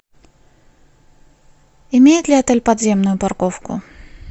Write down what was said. имеет ли отель подземную парковку